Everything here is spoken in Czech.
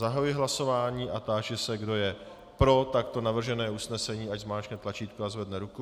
Zahajuji hlasování a táži se, kdo je pro takto navržené usnesení, ať zmáčkne tlačítko a zvedne ruku.